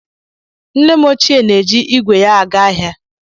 Nne m ochie na-eji ígwè ya aga ahịa.